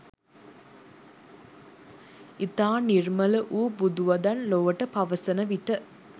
ඉතා නිර්මල වූ බුදු වදන් ලොවට පවසන විට